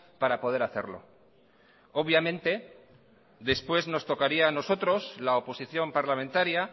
para poder hacerlo obviamente después nos tocaría a nosotros la oposición parlamentaria